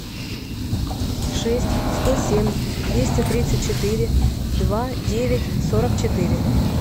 шесть сто семь двести тридцать четыре два девять сорок четыре